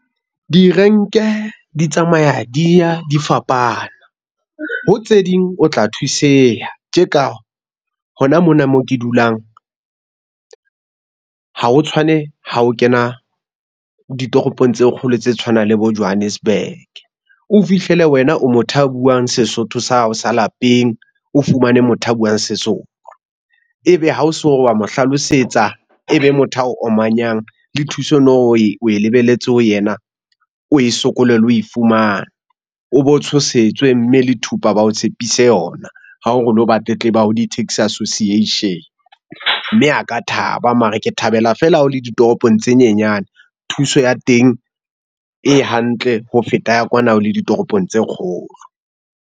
Direnke di tsamaya di ya di fapana. Ho tse ding o tla thuseha, tje ka hona mona mo ke dulang ha ho tshwane ha o kena ditoropong tse kgolo tse tshwanang le bo Johannesburg? O fihlele wena o motho a buang Sesotho sa hao sa lapeng o fumane motho a buang Sezulu. Ebe ha o so o re wa mo hlalosetsa e be motho a o omanyang le thuso o no e lebelletse ho yena. O e sokole le ho e fumana o bo tshosetswe mme le thupa ba o tshepise yona. Ha o re o lo ba tletleba ho di taxi association. Mme a ka thaba mara ke thabela feela ha o le ditoropong tse nyenyane, thuso ya teng e hantle ho feta ya kwana o le ditoropong tse kgolo.